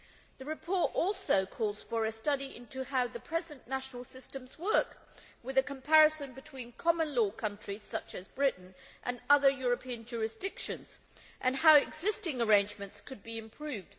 The report also calls for a study into how the present national systems work, with a comparison between common law countries, such as Britain, and other European jurisdictions, and how existing arrangements could be improved.